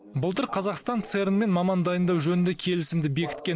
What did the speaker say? былтыр қазақстан церн мен маман дайындау жөнінде келісімді бекіткен